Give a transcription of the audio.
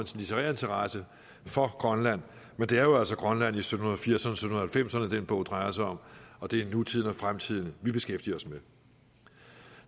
litterær interesse for grønland men det er jo altså grønland i sytten firserne og sytten halvfemserne den bog drejer sig om og det er nutiden og fremtiden vi beskæftiger os med